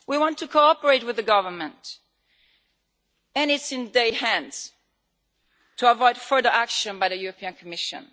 We want to cooperate with the Government, and it is in their hands to avoid further action by the Commission.